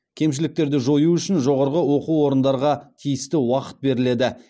кемшіліктерді жою үшін жоғарғы оқу орындарға тиісті уақыт беріледі